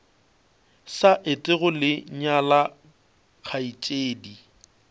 sa etego le nyala kgaetšedi